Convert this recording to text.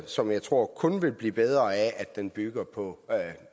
som jeg tror kun vil blive bedre af at den bygger på